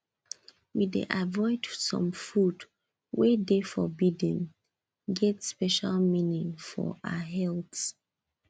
we dey avoid some food wey de forbiddene get special meaning for our health